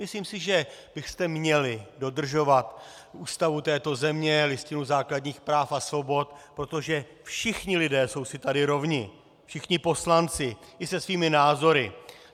Myslím si, že byste měli dodržovat Ústavu této země, Listinu základních práv a svobod, protože všichni lidé jsou si tady rovni, všichni poslanci i se svými názory.